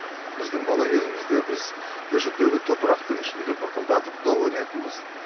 біздің бала кезімізде біз көшедегі топырақтың үстінде бұрқылдатып доп ойнайтынбыз